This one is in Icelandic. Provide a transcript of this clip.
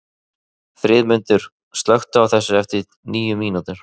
Friðmundur, slökktu á þessu eftir níu mínútur.